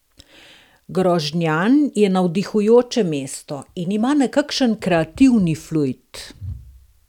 Grožnjan je navdihujoče mesto in ima nekakšen kreativni fluid.